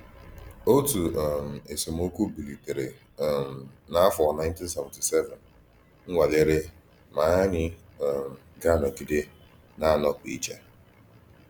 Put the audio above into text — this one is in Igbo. Òtù um ésemòkwù bílítèrè um n’áfọ̀ 1977 nwàlèrè ma ànyí um gà-anọ̀gídè na-anọ́pụ̀ ìchè.